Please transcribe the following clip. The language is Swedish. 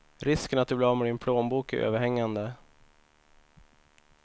Risken att du blir av med din plånbok är överhängande.